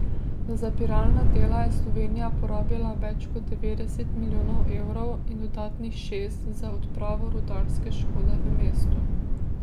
Za zapiralna dela je Slovenija porabila več kot devetdeset milijonov evrov in dodatnih šest za odpravo rudarske škode v mestu.